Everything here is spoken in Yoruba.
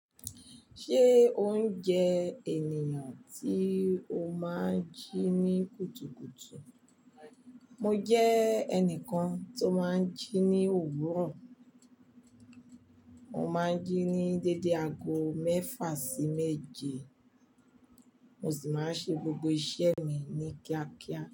Ṣé o ń jẹ ènìyàn tí o máa ń jí ní kùtùkùtù? Mo jẹ́ ẹnìkan tó máa ń jí ní òwúrọ̀. Mo máa ń jí ní dédé aago mẹ́fà sí méje. Mo sì máa ń ṣe gbogbo iṣẹ́ mi ní kíákíá.